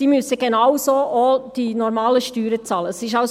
Diese müssen die normalen Steuern ebenso bezahlen.